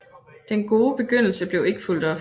Den gode begyndelse blev ikke fulgt op